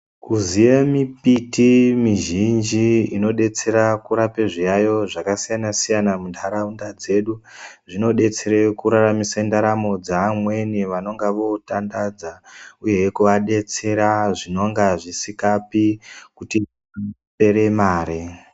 Kuziya mimbiti mizhinji inodetsera kurape zviyaiyo zvakasiyana siyana muntaraunda dzedu, zvinodetsere kuraramise ndaramo dzeamweni vanonga votandadza uyehe kuadetsera zvinonga zvisikapi kude mare.